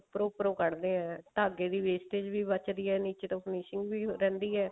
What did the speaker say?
ਉੱਪਰੋਂ ਉੱਪਰੋਂ ਕੱਢਦੇ ਹਾਂ ਧਾਗੇ ਦੀ wastage ਵੀ ਬੱਚਦੀ ਹੈ ਨੀਚੇ ਤੋਂ finishing ਵੀ ਰਹਿੰਦੀ ਹੀ